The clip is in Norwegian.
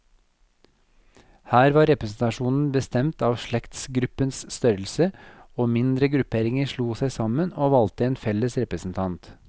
Her var representasjonen bestemt av slektsgruppenes størrelse, og mindre grupperinger slo seg sammen, og valgte en felles representant.